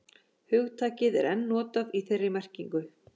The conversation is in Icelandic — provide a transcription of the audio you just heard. Hugtakið er enn notað í þeirri merkingu.